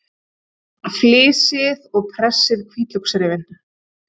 Flysjið og pressið hvítlauksrifin.